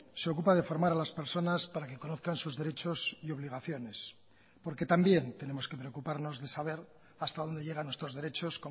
se ocupa de formar a las personas para que conozcan sus derechos y obligaciones porque también tenemos que preocuparnos de saber hasta dónde llega nuestros derechos